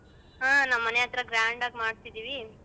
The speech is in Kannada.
ಹಾ ನಮ್ಮನೆಹತ್ರ grand ಆಗಿ ಮಾಡ್ತಿದಿವಿ.